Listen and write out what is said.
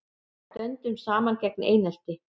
Stöndum saman gegn einelti